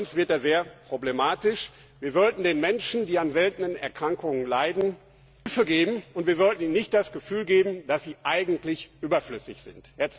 Sonst wird er sehr problematisch. Wir sollten den Menschen, die an seltenen Erkrankungen leiden, Hilfe geben und ihnen nicht das Gefühl geben, dass sie eigentlich überflüssig sind!